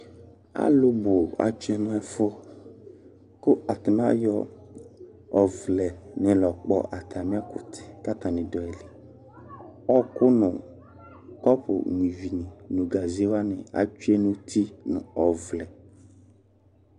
alʋ bʋ atchoe nɛfʋ, kʋ ata nɩa ayɔ ɔvlɛ nɩ lɔkpɔ ata mɩɛkʋtɛ, kata nɩdʋ ayili Ɔkʋ nʋ ƙɔpʋ nyui vini, nʋ gaze wanɩ atsoe nuti, nʋ ɔvlɛ